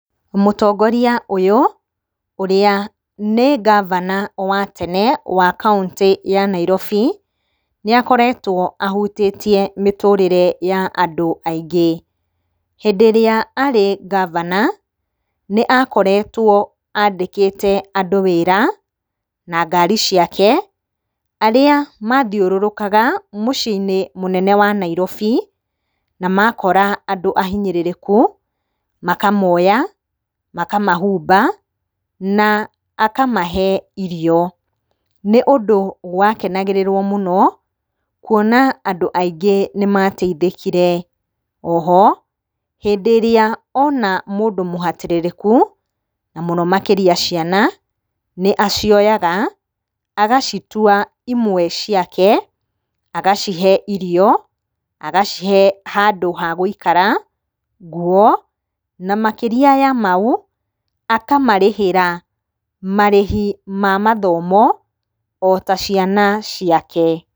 Mũtongoria ũyũ ũrĩa nĩ ngabana wa tene wa kauntĩ ya Nairobi, nĩ akoretwo ahutĩtie mĩtũrĩre ya andũ aingĩ, hĩndĩ ĩrĩa arĩ ngabana, nĩ akoretwo andĩkĩte andũ wĩra na ngari ciake, arĩa mathiũrũrũkaga mũciĩ-inĩ mũnene wa Nairobi, na makora andũ ahinyĩrĩrĩku makamoya, makamahumba, na akamahe irio, nĩ ũndũ wakenagĩrĩrwo mũno, kuona andũ aingĩ nĩ mateithĩkire, o ho, hĩndĩ ĩrĩa ona mũndũ mũhatĩrĩrĩku, na mũno makĩria ciana, nĩ acioyaga, agacituwa imwe ciake, agacihe irio, agacihe handũ hagũikara, nguo, na makĩria ya mau, akamarĩhĩra marĩhi ma mathomo o ta ciana ciake.